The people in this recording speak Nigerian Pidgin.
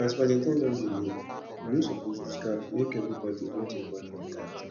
as valentine don dey near we no suppose lose guard make everybody hold im boyfriend tight